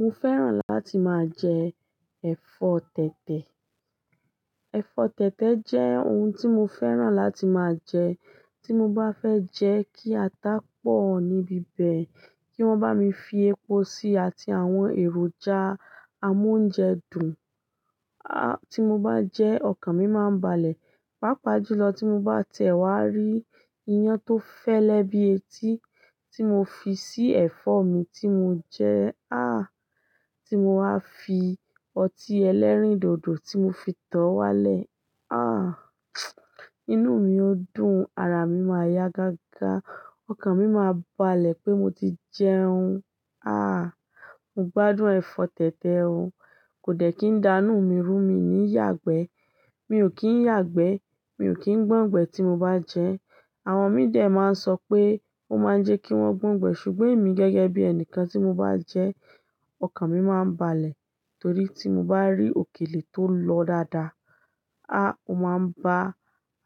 Mo fẹ́ràn láti máa jẹ ẹ̀fọ́ tẹ̀tẹ̀. Ẹ̀fọ́ tẹ̀tẹ̀ jẹ́ oun tí mo fẹ́ràn láti máa jẹ. Tí mo bá fẹ́ jẹ kí ata pọ̀ níbí bẹ̀ kí wọ́n bá mi fi epo síi àti àwọn èròjà amóúnjẹ dùn. A! Tí mo bá jẹ ọkàn mi máa ń balẹ̀. Pápá jùlo tí mo bá ti e wá rí iyán tó fẹ́lẹ́ bí etí tí mo fi sí ẹ̀fọ́ mi tí mo jẹ, a! Tí mo wá fi ọtí ẹlẹ́rìndòdò tí mo fi tọ̀ ọ́ wálẹ̀, a! Inú mi ó dùn, ara mi máa yá gágá, ọkàn mi máa balẹ̀ pé mo ti jẹun. Ah! Mo gbádùn ẹ̀fọ́ tẹ̀tẹ̀ o. Kò dẹ̀ kí n da inù mi rú mi ní yàgbẹ́. Mi ò kí ń yàgbẹ́. Mi ò kí ń gbọ̀n ìgbẹ́ tí mo bá jẹ. Àwọn mi dẹ̀ máa ń sọ pé ó máa ń jẹ kí wọ́n gbọ̀n ìgbẹ́ ṣùgbọ́n èmi gẹ́gẹ́ bí ẹni kan tí mo bá jẹ, ọkàn mi máa ń balẹ̀ torí tí mo bá rí òkèlè tó lọ dáadáa, ah! Ó máa ń bá